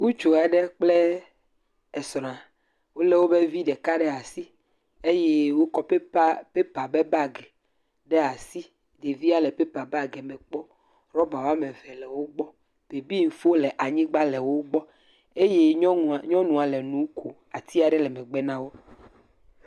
Ŋutsu aɖe kple esrɔ̃a wole wobe vi ɖeka ɖe asi. Eye wɔkɔ paper be bag ɖe asi. Ɖevia le paper bag me kpɔ. Rɔba woame eve le wo gbɔ. Bebeŋfo le anyigba le wogbɔ eye nyɔnua le nu ko. Ati aɖe le megbe na wò.